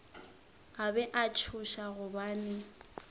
a be a tšhoša gobane